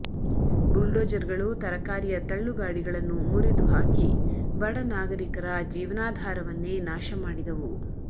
ಬುಲ್ಡೋಜರ್ಗಳು ತರಕಾರಿಯ ತಳ್ಳುಗಾಡಿಗಳನ್ನು ಮುರಿದುಹಾಕಿ ಬಡ ನಾಗರಿಕರ ಜೀವನಾಧಾರವನ್ನೇ ನಾಶ ಮಾಡಿದವು